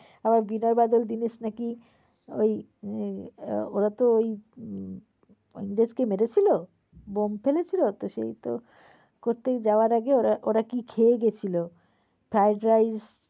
হ্যাঁ বিনয় বাদল দীনেশ নাকি ওই এ~ওরা তো ওই ইংরেজকে মেরেছিল, বোম্ব ফেলেছিল। সে তো করতে যাওয়ার আগে ওরা কি খেয়ে গেছিল fried rice